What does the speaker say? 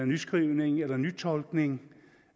nyskrivning eller nytolkning